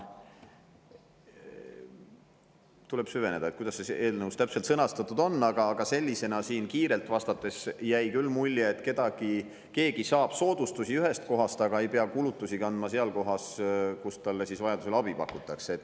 Tuleb süveneda, kuidas see eelnõus täpselt sõnastatud on, aga sellisena siin kiiretest vastustest jäi küll mulje, et keegi saab soodustusi ühest kohast, aga ei pea kulutusi kandma seal, kus talle vajaduse korral abi pakutakse.